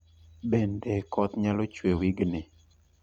Bende koth nyalo chwe wigni